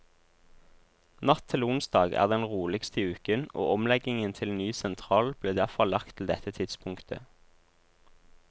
Natt til onsdag er den roligste i uken og omleggingen til ny sentral ble derfor lagt til dette tidspunktet.